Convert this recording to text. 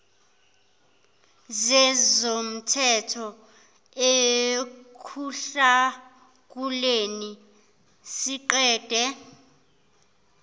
zezomthetho ekuhlakuleni siqede